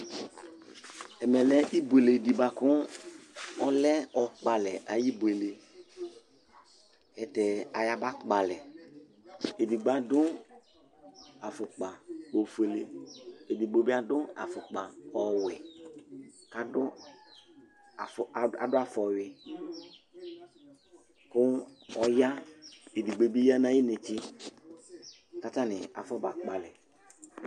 Ɛmɛ lɛ ɩbuele ɖɩ bua ku ɔlɛ ɔkpalɛ ayibuele, tɛtɛ ayaɓa kpalɛ Eɖɩgbo aɖu afukpa ofoele, eɖɩgbo bɩ aɖu afukpa ɔwɛ, aɖu aɖu afɔwi ku ɔya, eɖɩgbo ɓɩ ya nakɩ netse katanɩ afɔ ba kpalɛ